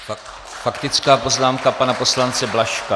Faktická poznámka pana poslance Blažka.